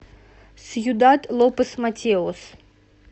сьюдад лопес матеос